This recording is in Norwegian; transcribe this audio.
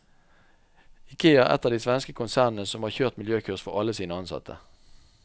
Ikea er ett av de svenske konsernene som har kjørt miljøkurs for alle sine ansatte.